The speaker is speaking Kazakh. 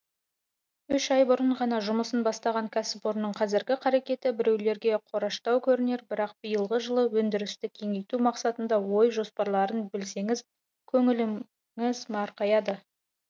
үш ай бұрын ғана жұмысын бастаған кәсіпорынның қазіргі қарекеті біреулерге қораштау көрінер бірақ биылғы жылға өндірісті кеңейту мақсатындағы ой жоспарларын білсеңіз көңіліңіз марқаяды